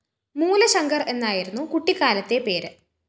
മൂലശങ്കര്‍ എന്നായിരുന്നു കുട്ടിക്കാലത്തെ പേര്